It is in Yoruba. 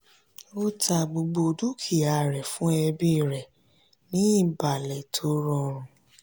ó ta gbogbo dúkìá rẹ fún ẹbí rẹ ní ìbalẹ̀ tó rọrùn.